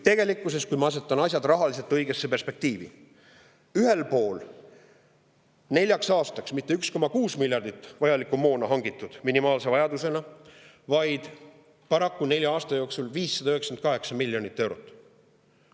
Kuid ma asetan asjad rahaliselt õigesse perspektiivi: ühel pool on neljaks aastaks minimaalse vajadusena vajaliku moona jaoks mitte 1,6 miljardit, vaid paraku nelja aasta peale 598 miljonit eurot.